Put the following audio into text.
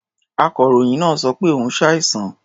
Akọ̀ròyìn náà sọ pé òun ṣàìsàn.